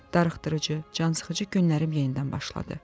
Darıxdırıcı, cansıxıcı günlərim yenidən başladı.